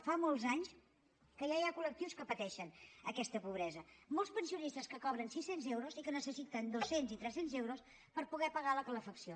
fa molts anys que ja hi ha col·lectius que pateixen aquesta pobresa molts pensionistes que cobren sis cents euros i que necessiten dos cents i tres cents euros per poder pagar la calefacció